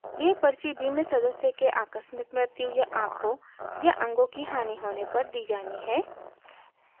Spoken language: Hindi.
यह पर्ची बीमित सदस्य के आकस्मिक मृत्यु या आँखों या अंगों की हानि होने पर दी जानी है